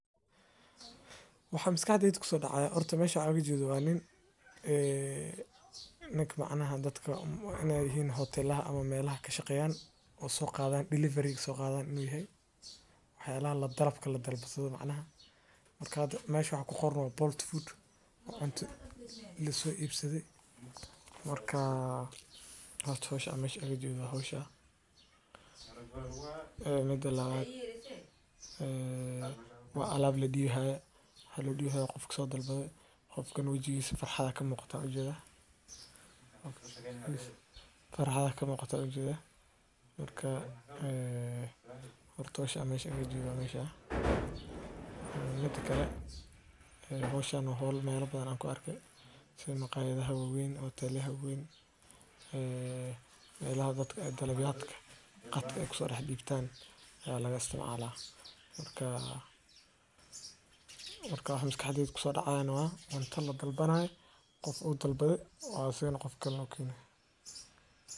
Waxa miskax keygu kusoo dhacaaya horto meesha wax an ujetho Waa niin, eee, nink macnaheen dadka umm wanaagii heen hotelaha ama meelo ka shaqeeya oo soo qaadaan delivery ga soo qaadaan nuuhay. Waxay la isticmaashaa darabka la dalbato macnaha. Warkaadu meeshu ku hor nool Bolt Food waa cunto leh la soo iibsiday. Warkaaa, hoos u hosha ameesha igu jiro hosha ah. Ee, mid lala aya. Eee waan allaab la diyiho, hadii la diiho qofka soo dalbeey, qofkan wajigiis farxada ka muuqata u jira. Qofkisa farxa ka muuqata u jira. Warkaaa, eee, horto shi ameesha iguu jiba ameesha ah. Mid kala xigay. Ee, hosha noo hall meelo badan aan ku arki, si ay maqaayadda ha gogeen, hoteellyahay ha gogeen. Eeee, wiilaa dadka ee dhalabyaadka qatka ikhsan raxiibbiibtaan ee laga isticmaalaa lahaa. Warkaaa, warka haween misk xadigii kusoo dhacaan waa, wantaan la dalbanahay qof uu dalbeey, waan si noqon karno kin ah.